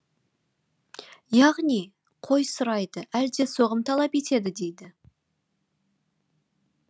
яғни қой сұрайды әлде соғым талап етеді дейді